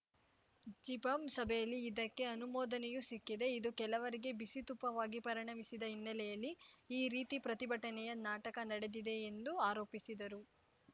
ಜಿಪಂ ಸಭೆಯಲ್ಲಿ ಇದಕ್ಕೆ ಅನುಮೋದನೆಯೂ ಸಿಕ್ಕಿದೆ ಇದು ಕೆಲವರಿಗೆ ಬಿಸಿತುಪ್ಪವಾಗಿ ಪರಿಣಮಿಸಿದ ಹಿನ್ನೆಲೆಯಲ್ಲಿ ಈ ರೀತಿ ಪ್ರತಿಭಟನೆಯ ನಾಟಕ ನಡೆದಿದೆ ಎಂದು ಆರೋಪಿಸಿದರು